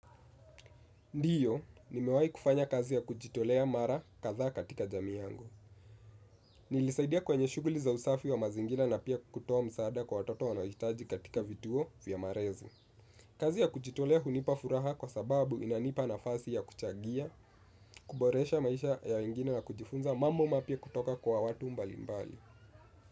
Ndio, nimewahi kufanya kazi ya kujitolea mara kadhaa katika jamii yangu. Nilisaidia kwenye shuguli za usafi wa mazingira na pia kutoa msaada kwa watoto wanaohitaji katika vituo vya malezi. Kazi ya kujitolea hunipa furaha kwa sababu inanipa nafasi ya kuchagia, kuboresha maisha ya wengine na kujifunza mambo mapya kutoka kwa watu mbalimbali.